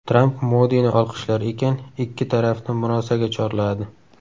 Tramp Modini olqishlar ekan, ikki tarafni murosaga chorladi.